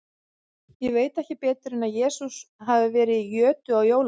Ég veit ekki betur en að Jesús hafi verið í jötu á jólunum.